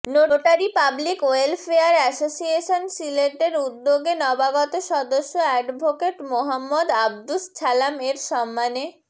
notary public welfare association সিলেটের উদ্যোগে নবাগত সদস্য এডভোকেট মোহাম্মদ আব্দুস ছালাম এর সম্মানে